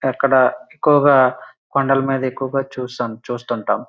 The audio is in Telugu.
అక్కడ ఎక్కువగా కొండల మీద ఎక్కువగా చూస్తూ ఉంటాము.